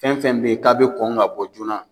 Fɛn fɛn bɛ ye k'a bɛ kɔn ka bɔ joona.